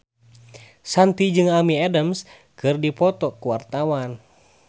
Shanti jeung Amy Adams keur dipoto ku wartawan